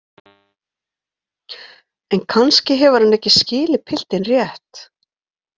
En kannski hefur hann ekki skilið piltinn rétt.